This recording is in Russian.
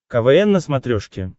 квн на смотрешке